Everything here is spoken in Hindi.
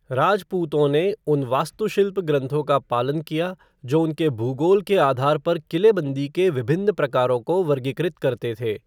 राजपूतों ने उन वास्तुशिल्प ग्रंथों का पालन किया जो उनके भूगोल के आधार पर किलेबंदी के विभिन्न प्रकारों को वर्गीकृत करते थे।